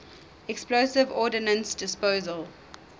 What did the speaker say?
explosive ordnance disposal